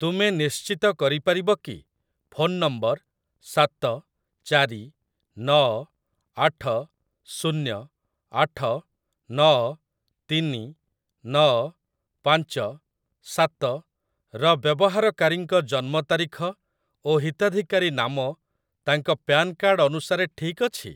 ତୁମେ ନିଶ୍ଚିତ କରିପାରିବ କି, ଫୋନ ନମ୍ବର ସାତ ଚାରି ନଅ ଆଠ ଶୁନ୍ୟ ଆଠ ନଅ ତିନି ନଅ ପାଞ୍ଚ ସାତ ର ବ୍ୟବହାରକାରୀଙ୍କ ଜନ୍ମ ତାରିଖ ଓ ହିତାଧିକାରୀ ନାମ ତାଙ୍କ ପ୍ୟାନ୍ କାର୍ଡ ଅନୁସାରେ ଠିକ୍ ଅଛି?